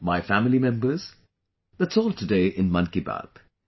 My family members, that's all today in Mann Ki Baat